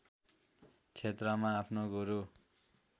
क्षेत्रमा आफ्नो गुरू